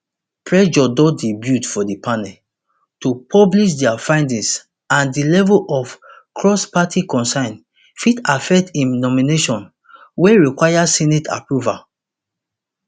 pressure don dey build for di panel to publish dia findings and di level of crossparty concern fit affect im nomination wey require senate approval